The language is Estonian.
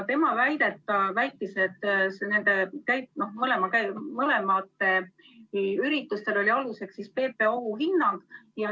Tema on väitnud, et nende mõlema ürituse puhul oli aluseks PPA ohuhinnang.